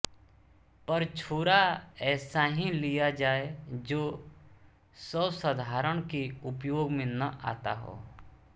पर छुरा ऐसा ही लिया जाए जो सवर्साधारण के उपयोग में न आता हो